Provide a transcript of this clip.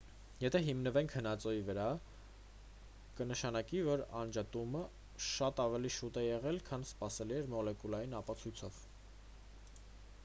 եթե հիմնվենք հնածոյի վրա կնշանակի որ անջատումը շատ ավելի շուտ է եղել քան սպասելի էր մոլեկուլային ապացույցով